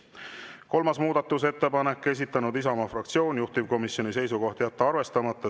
Kolmas muudatusettepanek, esitanud Isamaa fraktsioon, juhtivkomisjoni seisukoht on jätta arvestamata.